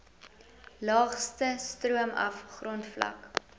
laagste stroomaf grondvlak